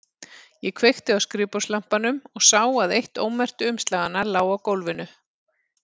Ég kveikti á skrifborðslampanum og sá að eitt ómerktu umslaganna lá á gólfinu.